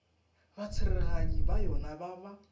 batsereganyi ba yona ba ba